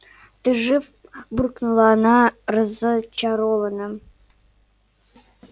ты жив буркнула она разочарованно